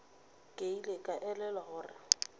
ke ile ka elelwa gore